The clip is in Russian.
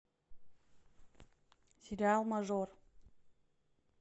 сериал мажор